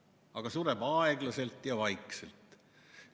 Aga sureb aeglaselt ja vaikselt.